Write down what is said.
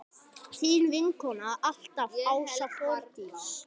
Þín vinkona alltaf, Ása Þórdís.